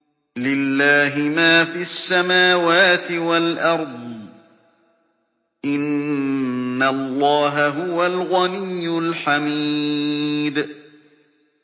لِلَّهِ مَا فِي السَّمَاوَاتِ وَالْأَرْضِ ۚ إِنَّ اللَّهَ هُوَ الْغَنِيُّ الْحَمِيدُ